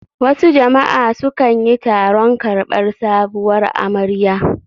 Wasu jama'a su kanyi taron karbar sabuwar amarya